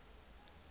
ho tla nne ho dule